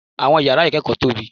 Àwọn yàrá ìkẹ́kọ̀ọ́ tóbi.